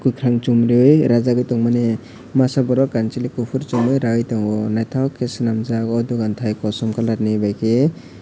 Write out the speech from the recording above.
kokarang chom riyoi rajagoi tongmani masa borok kansaloi kopor somoi raioe tango naitok ke senamgjak o dogan tai kosam colour ni bai ke.